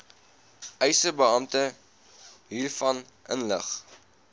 eisebeampte hiervan inlig